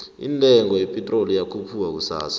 indengo ye pitrol iyokhupuka kusasa